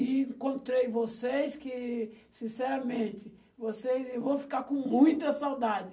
E encontrei vocês que, sinceramente, vocês... Eu vou ficar com muita saudade.